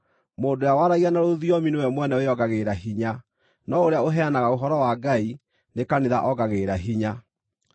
Mũndũ ũrĩa waragia na rũthiomi nĩ we mwene wĩongagĩrĩra hinya, no ũrĩa ũheanaga ũhoro wa Ngai nĩ kanitha ongagĩrĩra hinya.